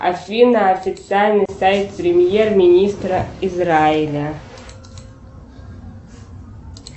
афина официальный сайт премьер министра израиля